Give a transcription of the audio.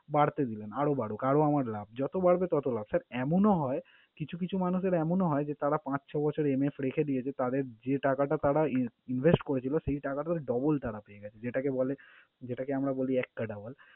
বাড়তে দিবেন আরও বারুক আরও আমার লাভ। যত বাড়বে তত লাভ। Sir এমনও হয় কিছু কিছু মানুষের এমনও হয় যে তাঁরা পাঁচ ছয় বছর MF রেখে দিয়েছে তাঁদের যে টাকাটা তাঁরা in~ invest করেছিলো, সেই টাকাটার double তাঁরা পেয়ে গেছে। যেটাকে বলে যেটাকে আমরা বলি একটা extra double ।